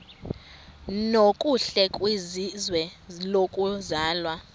nokuhle kwizwe lokuzalwa